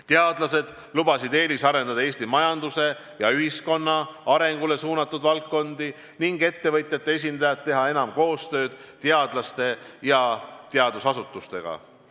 Teadlased lubasid eelisarendada Eesti majanduse ja ühiskonna arengule suunatud valdkondi ning ettevõtjate esindajad teha enam koostööd teadlaste ja teadusasutustega.